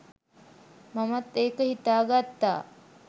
මමත් ඒක හිතා ගත්තා